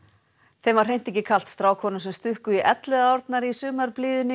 þeim var ekkert kalt strákunum sem stukku í Elliðaárnar í sumarblíðunni